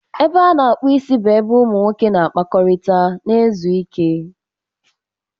Ebe a na-akpụ isi bụ ebe ụmụ nwoke na-akpakọrịta na izu ike.